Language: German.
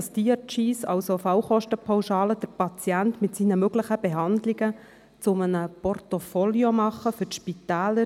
Die Diagnosis Related Groups (DRG), also Fallkostenpauschalen, machen den Patienten mit seinen möglichen Behandlungen zu einem Portfolio für die Spitäler.